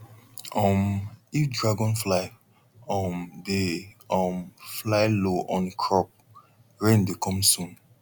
um if dragonfly um dey um fly low on crop rain dey come soon